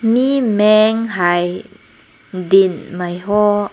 mei meng hai ding mai ho.